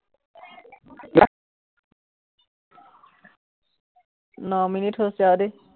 ন minute হৈছে আৰু দেই।